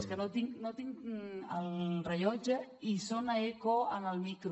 és que no tinc el rellotge i sona eco en el micro